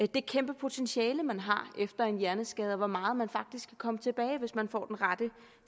det kæmpe potentiale man har efter en hjerneskade og for hvor meget man faktisk kan komme tilbage hvis man får den rette